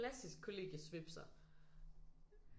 Klassisk kollegiesvipser